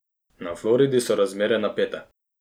Na Floridi so razmere napete.